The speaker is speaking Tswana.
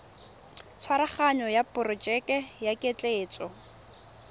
tshwaraganyo ya porojeke ya ketleetso